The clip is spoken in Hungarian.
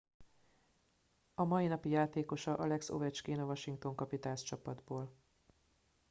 a mai napi játékosa alex ovechkin a washington capitals csapatból